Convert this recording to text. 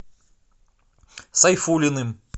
сайфуллиным